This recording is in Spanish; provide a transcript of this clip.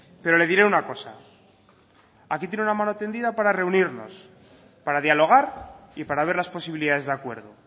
pero le diré una cosa aquí tiene una mano tendida para reunirnos para dialogar y para ver las posibilidades de acuerdo